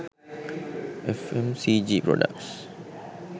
fmcg products